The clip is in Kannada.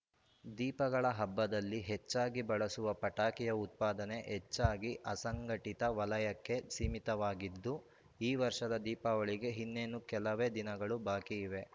ದೀಪಗಳ ಹಬ್ಬದಲ್ಲಿ ಹೆಚ್ಚಾಗಿ ಬಳಸುವ ಪಟಾಕಿಯ ಉತ್ಪಾದನೆ ಹೆಚ್ಚಾಗಿ ಅಸಂಘಟಿತ ವಲಯಕ್ಕೆ ಸೀಮಿತವಾಗಿದ್ದು ಈ ವರ್ಷದ ದೀಪಾವಳಿಗೆ ಇನ್ನೇನು ಕೆಲವೇ ದಿನಗಳು ಬಾಕಿ ಇವೆ